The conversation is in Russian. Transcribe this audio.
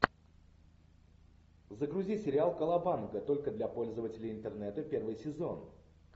загрузи сериал колобанга только для пользователей интернета первый сезон